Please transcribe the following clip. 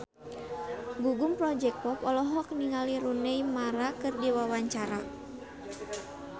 Gugum Project Pop olohok ningali Rooney Mara keur diwawancara